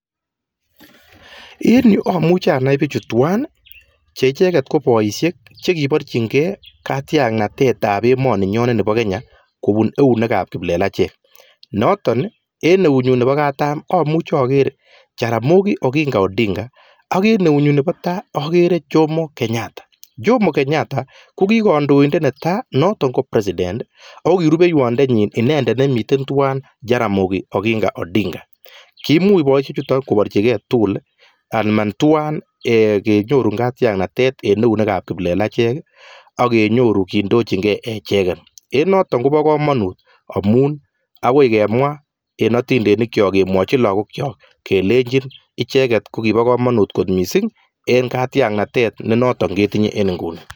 En yu amuchi anai bichu twaan bik chekiborjinkei kandoinatet ab emet ak Ko eng eut ab katam ko jeramogi oginga odinga ak eng Tai ko Jommo Kenyatta neki kandoindet netai eng emet